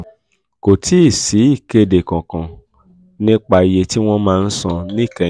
kò um tíì sí sí ìkéde kankan um nípa iye tí um wọ́n máa ń san níkẹyìn.